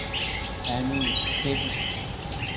Annie Celik